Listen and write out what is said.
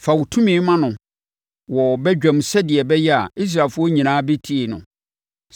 Fa wo tumi ma no wɔ badwam sɛdeɛ ɛbɛyɛ a, Israelfoɔ nyinaa bɛtie no.